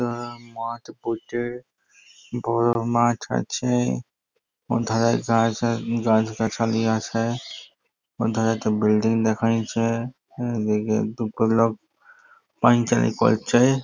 তারা মাঠ পটে বড়ো মাঠ আছে |এবং ঘাস গাছগাছালি আছে ওধারেতে বিল্ডিং দেখা যাচ্ছে | এদিকে দুটোলোক পায়চারি করছে ।